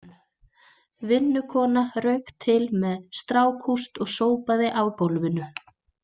Vinnukona rauk til með strákúst og sópaði af gólfinu.